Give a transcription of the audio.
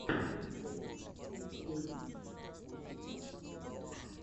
энсель плэйгеймс у тебя будет